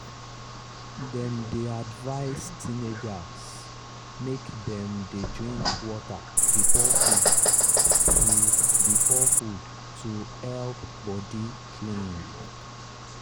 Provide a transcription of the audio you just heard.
dem dey advise teenagers make dem dey drink water before food to before food to help body clean.